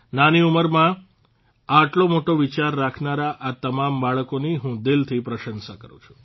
નાની ઉંમરમાં આટલો મોટો વિચાર રાખનારા આ તમામ બાળકોની હું દિલથી પ્રશંસા કરૂં છું